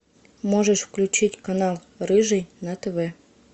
можешь включить канал рыжий на тв